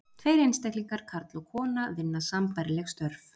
Tveir einstaklingar, karl og kona, vinna sambærileg störf.